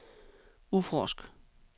udforsk